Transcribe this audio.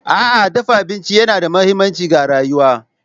A'a, dafa abinci yana da mahimmanci ga rayuwa.